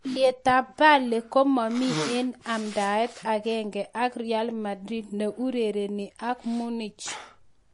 Alyetab Bale komomi en en amdaet agenge ak Real Madrid ne urereni ak Munich